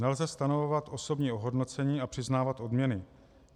Nelze stanovovat osobní ohodnocení a přiznávat odměny.